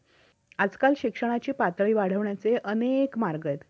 आजकाल शिक्षणाची पातळी वाढवण्याचे अनेक मार्ग आहेत.